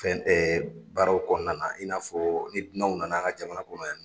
Fɛn ɛɛ baaraw kɔnɔna , i n'a fɔ ni dunanw nana an ka jamana kɔnɔ yan